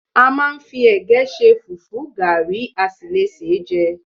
A máa ń fi ẹ̀gẹ́ ṣe, fùfú, gàrí, a sì le sé e jẹ